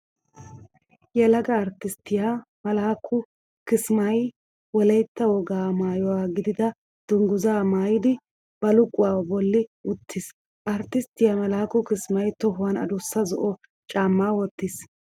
Yelaga arttisttiya Malaakku Kismay Wolaytta wogaa maayuwaa gidida dungguzzaa maayidi baluquwaa bolli uttiis. Arttisttiya Malaakku Kismay tohuwan adussa zo'o caammaa wottiis.